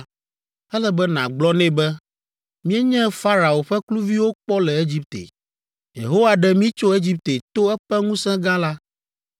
ele be nàgblɔ nɛ be, “Míenye Farao ƒe kluviwo kpɔ le Egipte. Yehowa ɖe mí tso Egipte to eƒe ŋusẽ gã la